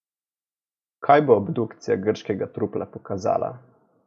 Kaj bo obdukcija grškega trupla pokazala?